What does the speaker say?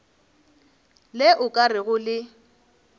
le o ka rego le